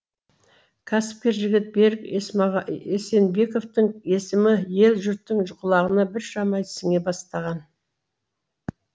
кәсіпкер жігіт берік есенбековтың есімі ел жұрттың құлағына біршама сіңе бастаған